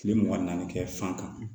Kile mugan ni naani kɛ fan kan